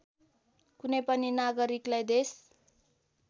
कुनै पनि नागरिकलाई देश